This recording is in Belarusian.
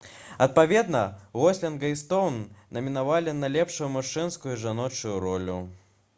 адпаведна гослінга і стоўн намінавалі на лепшую мужчынскую і жаночую ролю